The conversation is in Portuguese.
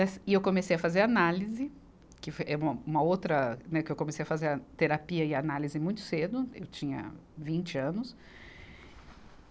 E eu comecei a fazer análise, que fo, é uma outra, né, que eu comecei a fazer a terapia e análise muito cedo, eu tinha vinte anos.